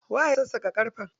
Waye ya sassaƙa ƙarfen?